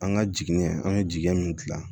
An ka jigini an ye jɛgɛ min gilan